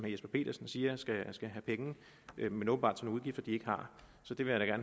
jesper petersen siger skal have penge men åbenbart til nogle udgifter de ikke har så det vil jeg